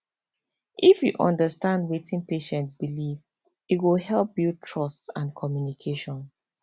if you understand wetin patient believe e go help build trust and communication